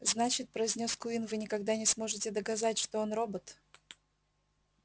значит произнёс куинн вы никогда не сможете доказать что он робот